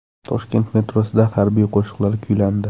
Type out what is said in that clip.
Toshkent metrosida harbiy qo‘shiqlar kuylandi.